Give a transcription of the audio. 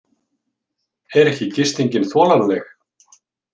Er ekki gistingin þolanleg?